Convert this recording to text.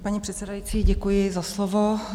Paní předsedající, děkuji za slovo.